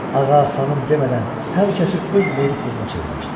Ağa, xanım demədən hər kəsi öz buyruq quluna çevirmişdi.